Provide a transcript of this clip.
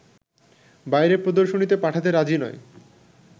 বাইরে প্রদর্শনীতে পাঠাতে রাজি নয়